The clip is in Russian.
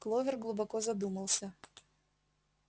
кловер глубоко задумался